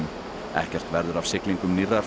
ekkert verður af siglingum nýrrar